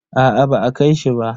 Aa ba a kai shi ba.